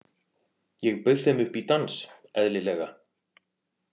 Ég bauð þeim upp í dans, eðlilega.